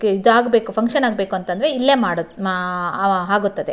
ಇದಾಗ್ ಬೇಕು ಫಂಕ್ಷನ್ ಆಗ್ಬೇಕು ಅಂದ್ರೆ ಇಲ್ಲೇ ಆಗುತ್ತದೆ.